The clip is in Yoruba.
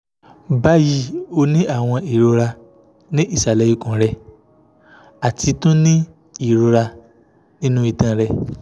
bayi o ni awọn irora ni isale ikun rẹ ati tun ni irora ninu itan rẹ